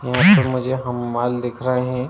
यहां पर मुझे दिख रहे हैं।